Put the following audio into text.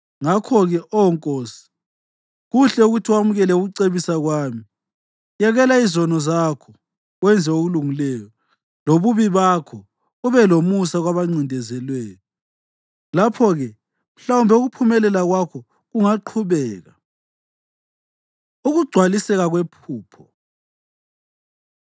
Ngakho-ke, Oh nkosi, kuhle ukuthi wamukele ukucebisa kwami: Yekela izono zakho wenze okulungileyo, lobubi bakho ube lomusa kwabancindezelweyo. Lapho-ke mhlawumbe ukuphumelela kwakho kungaqhubeka.” Ukugcwaliseka Kwephupho